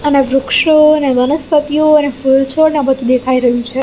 અને વૃક્ષો અને વનસ્પતિઓ અને ફુલ છોડ ને બધુ દેખાઈ રહ્યુ છે.